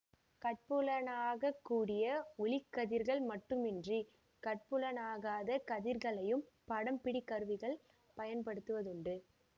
கட்புலனாக கூடிய ஒளிக்கதிர்கள் மட்டுமன்றி கட்புலனாகாத கதிர்களையும் படம்பிடிகருவிகள் பயன்படுத்துவதுண்டு